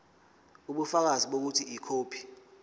ubufakazi bokuthi ikhophi